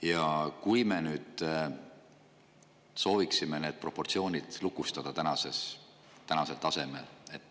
me sooviksime need proportsioonid lukustada tänasel tasemel.